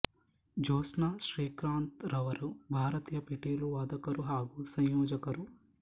ಜ್ಯೋತ್ಸ್ನಾ ಶ್ರೀಕಾಂತ್ ರವರು ಭಾರತೀಯ ಪಿಟೀಲು ವಾದಕರು ಹಾಗೂ ಸಂಯೋಜಕರು